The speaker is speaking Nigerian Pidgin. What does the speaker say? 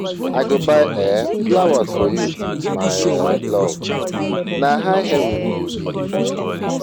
I go buy um flowers for you my um love, na high heaven you be.